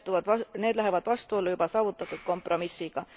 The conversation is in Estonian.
Need lähevad vastuollu juba saavutatud kompromissiga.